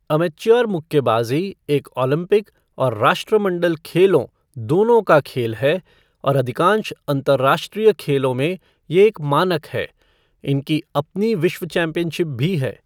Amateur मुक्केबाजी एक Olympic और राष्ट्रमंडल खेलों दोनों का खेल है और अधिकांश अंतरराष्ट्रीय खेलों में ये एक मानक है। इनकी अपनी विश्व चैंपियनशिप भी है।